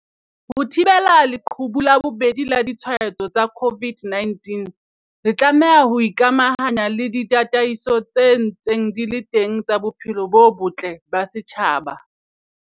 Ho thibela leqhubu la bobedi la ditshwaetso tsa COVID-19, re tlameha ho ikamahanya le ditataiso tse ntseng di le teng tsa bophelo bo botle ba setjhaba.